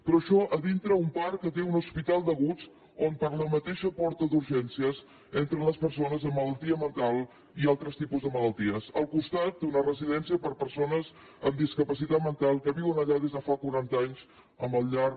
però això dintre un parc que té un hospital d’aguts on per la mateixa porta d’urgències entren les persones amb malaltia mental i altres tipus de malalties al costat d’una residència per a persones amb discapacitat mental que viuen allà des de fa quaranta anys amb el llarg